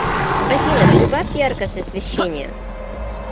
афина прибавь яркость освещения